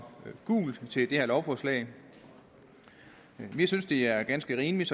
gult til det her lovforslag vi synes det er ganske rimeligt